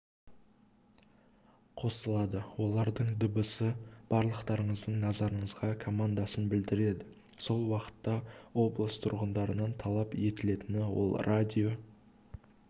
қосылады олардың дыбысы барлықтарыңыздың назарына командасын білдіреді сол уақытта облыс тұрғындарынан талап етілетіні ол радио